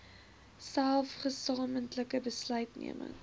selfs gesamentlike besluitneming